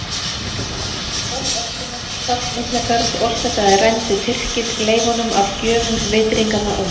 Eftir óöldina sem fall Miklagarðs orsakaði rændu Tyrkir leifunum af gjöfum vitringanna úr